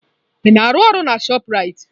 Ị na-arụ ọrụ na chopụ Raitị?